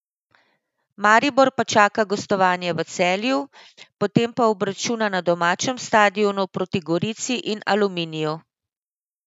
Maribor pa čaka gostovanje v Celju, potem pa obračuna na domačem stadionu proti Gorici in Aluminiju.